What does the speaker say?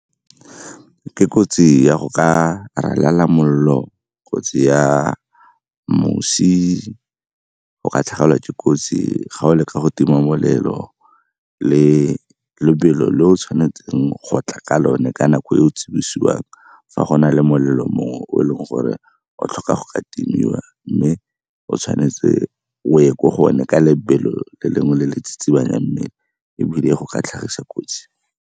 Ke kotsi ya go ka ralala mollo o tseya mosi, go ka tlhagelwa ke kotsi ga o leka go tima molelo le lebelo le o tshwanetseng go tla ka lone ka nako e o tsibosiwang fa go na le molelo moo o e leng gore o tlhoka go ka timiwa. Mme o tshwanetse o ye ko gone ka lebelo le lengwe le le tsitsibanyang mmele ebile e go ka tlhagisa kotsi.